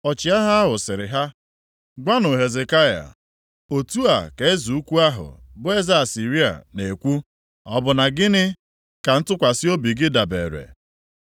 Ọchịagha ahụ sịrị ha, “Gwanụ Hezekaya: “ ‘Otu a ka eze ukwu ahụ, bụ eze Asịrịa, na-ekwu, Ọ bụ na gịnị ka ntụkwasị obi gị dabere?